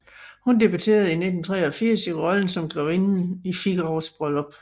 Hun debuterede i 1983 i rollen som Grevinden i Figaros Bryllup